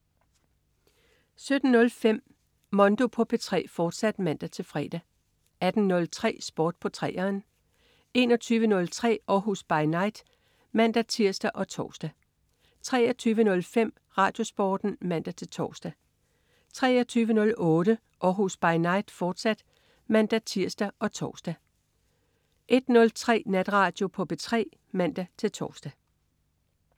17.05 Mondo på P3, fortsat (man-fre) 18.03 Sport på 3'eren 21.03 Århus By Night (man-tirs og tors) 23.05 RadioSporten (man-tors) 23.08 Århus By Night, fortsat (man-tirs og tors) 01.03 Natradio på P3 (man-tors)